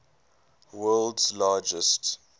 world s largest